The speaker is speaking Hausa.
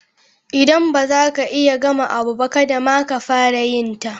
Idan ba za ka iya ka gama abu ba, kadda ma ka fara yin ta.